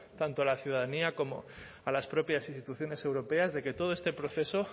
tanto a la ciudadanía como a las propias instituciones europeas de que todo este proceso